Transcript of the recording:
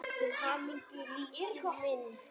Til hamingju, Lalli minn.